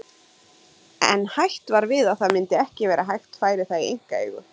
En hætt var við að það myndi ekki vera hægt færi það í einkaeigu.